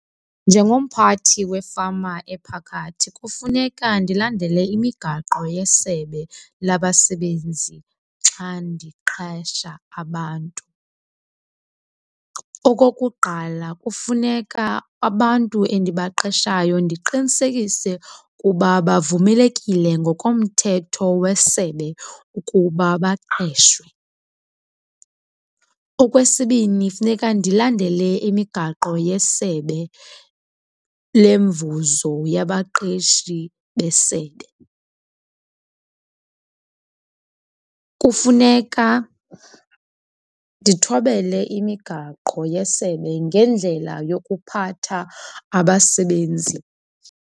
Njengomphathi wefama ephakathi kufuneka ndilandele imigaqo yeSebe laBasebenzi xa ndiqesha abantu. Okokuqala, kufuneka abantu endibaqeshayo ndiqinisekise ukuba bavumelekile ngokomthetho wesebe ukuba baqeshwe. Okwesibini, funeka ndilandele imigaqo yesebe lemvuzo yabaqeshi besebe. Kufuneka ndithobele imigaqo yesebe ngendlela yokuphatha abasebenzi.